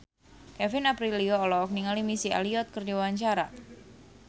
Kevin Aprilio olohok ningali Missy Elliott keur diwawancara